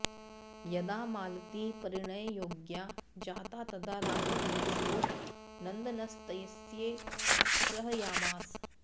यदा मालती परिणययोग्या जाता तदा राजविदूषको नन्दनस्तस्यै स्पृहयामास